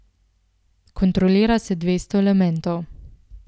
Kontrolira se dvesto elementov.